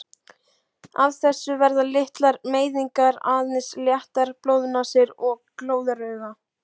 Af þessu verða litlar meiðingar, aðeins léttar blóðnasir og glóðaraugu.